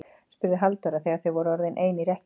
spurði Halldóra þegar þau voru orðin ein í rekkju.